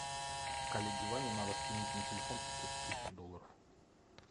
коллеге ване надо скинуть на телефон пятьсот тысяч долларов